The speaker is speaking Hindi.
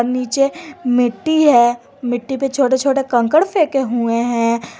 नीचे मिट्टी है मिट्टी पे छोटे छोटे कंकड़ फेके हुए हैं।